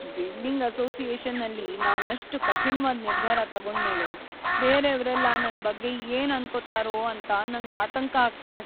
Building ಅಸೋಸಿಯೇಷನಲ್ಲಿ ನಾನಷ್ಟ್‌ ಕಠಿಣ್ವಾದ್ ನಿರ್ಧಾರ ತಗೊಂಡ್ಮೇಲೆ ಬೇರೇವ್ರೆಲ್ಲ ನನ್ ಬಗ್ಗೆ ಏನ್ ಅನ್ಕೊತಾರೋ ಅಂತ ನಂಗ್ ಆತಂಕ ಆಗ್ತಿದೆ.